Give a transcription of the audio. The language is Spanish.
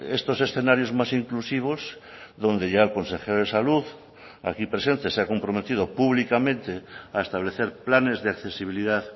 estos escenarios más inclusivos donde ya el consejero de salud aquí presente se ha comprometido públicamente a establecer planes de accesibilidad